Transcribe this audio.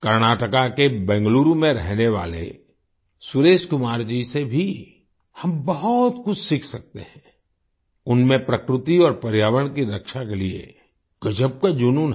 कर्नाटका के बेंगलुरु में रहने वाले सुरेश कुमार जी से भी हम बहुत कुछ सीख सकते हैं उनमें प्रकृति और पर्यावरण की रक्षा के लिए गजब का जुनून है